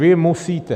Vy musíte!